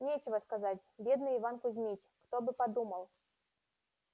нечего сказать бедный иван кузмич кто бы подумал